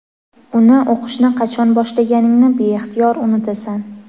uni o‘qishni qachon boshlaganingni beixtiyor unutasan.